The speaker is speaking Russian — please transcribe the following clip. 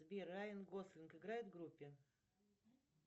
сбер райан гослинг играет в группе